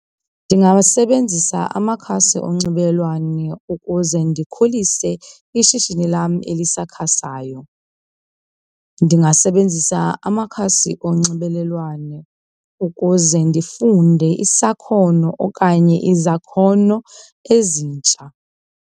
Ndingawasebenzisa amakhasi onxibelelwano ukuze ndikhulise ishishini lam elisakhasayo. Ndingasebenzisa amakhasi onxibelelwano ukuze ndifunde isakhono okanye izakhono ezintsha.